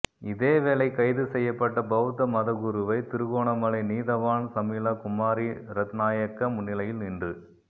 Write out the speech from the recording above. இதேவேளை கைது செய்யப்பட்ட பௌத்த மதகுருவை திருகோணமலை நீதவான் சமிலா குமாரி ரத்நாயக்க முன்னிலையில் இன்று